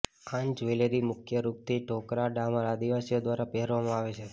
આન jewellery મુખ્ય રૂપ થી ઢોકરા ડામર આદિવાસીઓ દ્વારા પહેરવામાં આવે છે